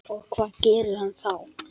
Og hvað gerir hann þá?